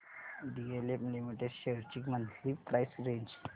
DLF limited shares ची monthly price range